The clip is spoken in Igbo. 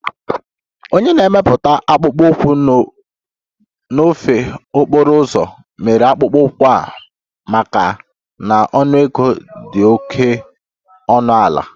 Onye na-emepụta akpụkpọ ụkwụ n'ofe okporo ụzọ mere akpụkpọ ụkwụ a maka m na ọnụego dị oke ọnụ ala